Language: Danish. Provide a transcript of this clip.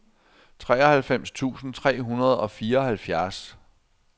treoghalvfems tusind tre hundrede og fireoghalvfjerds